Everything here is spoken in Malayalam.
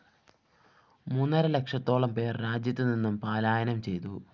മൂന്നര ലക്ഷത്തോളം പേര്‍ രാജ്യത്ത് നിന്ന് പലായനം ചെയ്തു